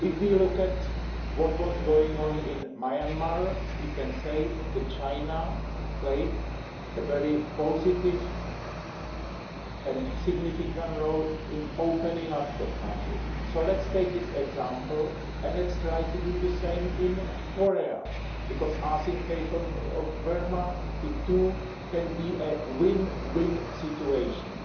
If we look at what was going on in Myanmar, we can say that China played a very positive and significant role in opening up that country, so let us take this example and let us try to do the same in Korea because, as in the case of Burma, it too can be a win win situation